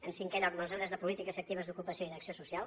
en cinquè lloc mesures de polítiques actives d’ocupa·ció i d’acció social